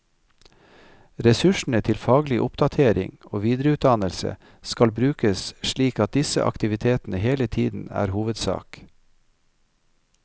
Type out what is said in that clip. Ressursene til faglig oppdatering og videreutdannelse skal brukes slik at disse aktivitetene hele tiden er hovedsak.